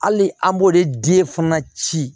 Hali an b'o de di fana ci